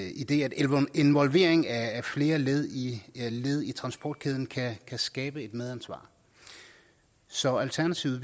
idet en involvering af flere led i led i transportkæden kan skabe et medansvar så i alternativet